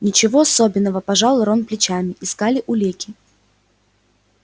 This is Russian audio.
ничего особенного пожал рон плечами искали улики